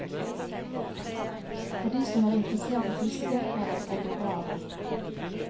For de som er interessert i fiske er det et eldorado.